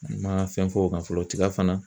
N man fɛn fɔ o kan fɔlɔ tiga fana